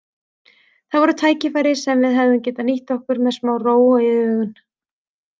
Það voru tækifæri sem við hefðum getað nýtt okkur með smá ró og yfirvegun.